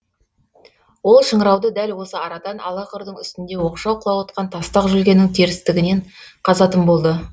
ол шыңырауды дәл осы арадан ала қырдың үстінде оқшау қылауытқан тастақ жүлгенің терістігінен қазатын болды